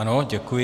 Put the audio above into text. Ano, děkuji.